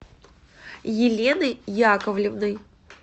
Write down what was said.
еленой яковлевной